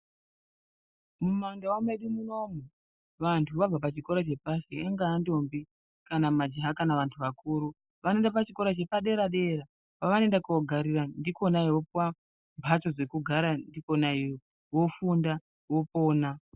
Mumandau medu munomu vanhu vabva pachikora chepasi, ingava ntombi kana majaha kana vantu vakuru. Vanoenda pachikora chepaderadera pavanoenda kunogarira ndikona kwamhatso dzekugarira varikona iyeyowo vofunda vopona.